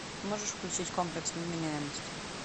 можешь включить комплекс невменяемости